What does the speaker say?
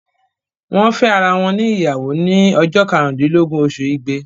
Wọ́n fẹ́ ara wọn ní ìyàwó ni ọjọ́ karùn-úndílógún oṣù ìgbé.